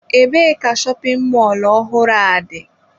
Ebee ka shopin mọlụ ọhụrụ a dị?